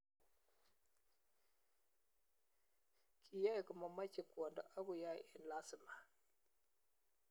Kiyae komameche kwondo ak keyae eng lasima